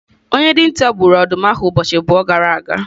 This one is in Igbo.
Onye dinta gburu ọdụm ahụ ụbọchị abụọ gara aga?